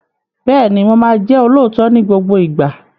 Bẹ́ẹ̀ni, Mo ma jẹ́ olóòótọ́ ni gbogbo ìgbà